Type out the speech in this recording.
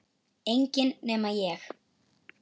Enginn nema ég